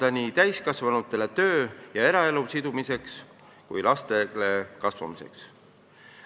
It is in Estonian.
See keskkond on hea nii täiskasvanutele töö- ja eraelu sidumiseks kui ka lastele kasvamiseks.